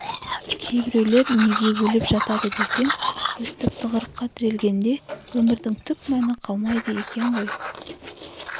кейбіреулер неге өліп жатады десең өстіп тығырыққа тірелгенде өмірдің түк мәні қалмайды екен ғой